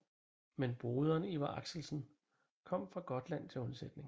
Men broderen Iver Axelsen kom fra Gotland til undsætning